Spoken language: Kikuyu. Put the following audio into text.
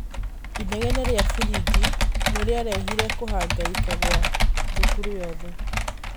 ĩnegene rĩa firĩngĩ nĩrĩarehire kũhangaika gwa thukũru yothe.